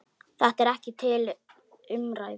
Þetta er ekki til umræðu.